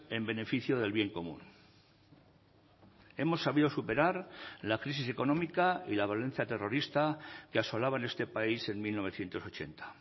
en beneficio del bien común hemos sabido superar la crisis económica y la violencia terrorista que asolaban este país en mil novecientos ochenta